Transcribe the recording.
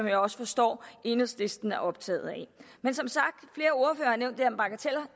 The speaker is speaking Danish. jeg også forstår at enhedslisten er optaget af men som sagt